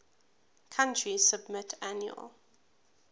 country submit annual